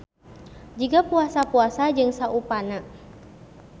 Jiga puasa-puasa jeung saupana.